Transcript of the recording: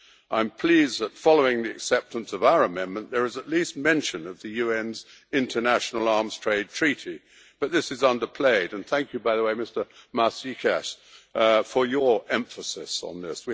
I am pleased that, following the acceptance of our amendment, there is at least mention of the UN's International Arms Trade Treaty, but this is under played and thank you, by the way, Mr Maasikas, for your emphasis on this.